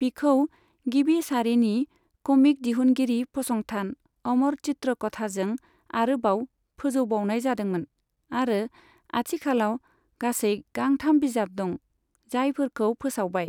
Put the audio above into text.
बिखौ गिबि सारिनि क'मिक दिहुनगिरि फसंथान अमर चित्र कथाजों आरोबाव फोजौबावनाय जादोंमोन आरो आथिखालाव गासै गांथाम बिजाब दं, जायफोरखौ फोसावबाय।